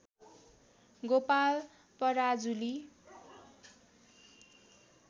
Gopal Parajuli